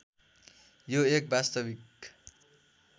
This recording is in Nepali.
यो एक वास्तविक